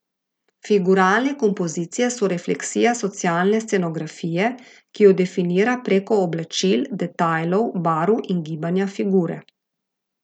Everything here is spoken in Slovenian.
Figuralne kompozicije so refleksija socialne scenografije, ki jo definira preko oblačil, detajlov, barv in gibanja figure.